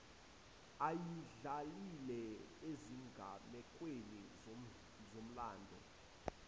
ayidlalile ezigamekweni zomlando